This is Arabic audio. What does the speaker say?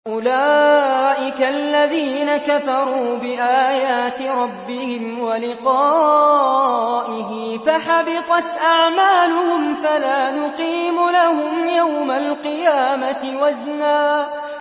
أُولَٰئِكَ الَّذِينَ كَفَرُوا بِآيَاتِ رَبِّهِمْ وَلِقَائِهِ فَحَبِطَتْ أَعْمَالُهُمْ فَلَا نُقِيمُ لَهُمْ يَوْمَ الْقِيَامَةِ وَزْنًا